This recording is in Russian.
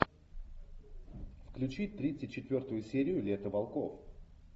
включи тридцать четвертую серию лето волков